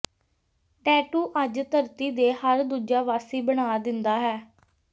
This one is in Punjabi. ਟੈਟੂ ਅੱਜ ਧਰਤੀ ਦੇ ਹਰ ਦੂਜਾ ਵਾਸੀ ਬਣਾ ਦਿੰਦਾ ਹੈ